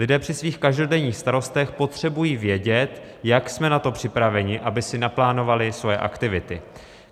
Lidé při svých každodenních starostech potřebují vědět, jak jsme na to připraveni, aby si naplánovali svoje aktivity.